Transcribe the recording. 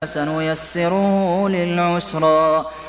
فَسَنُيَسِّرُهُ لِلْعُسْرَىٰ